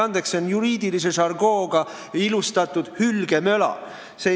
Andke andeks, see on juriidilise žargooniga ilustatud hülgemöla.